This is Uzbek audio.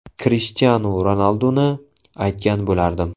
Krishtianu Ronalduni aytgan bo‘lardim.